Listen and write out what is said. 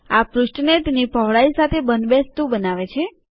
આ પૃષ્ઠને તેની પહોળાઈ સાથે બંધબેસતુ બનાવે છે